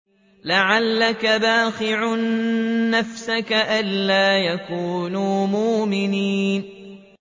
لَعَلَّكَ بَاخِعٌ نَّفْسَكَ أَلَّا يَكُونُوا مُؤْمِنِينَ